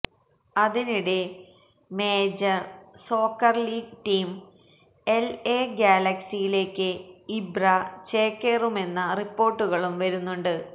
അതിനിടെ major soccer league team LA ഗ്യാലക്സിയിലേക്ക് Ibra ചേക്കേറുമെന്ന റിപ്പോര്ട്ടുകളും വരുന്നുണ്ട്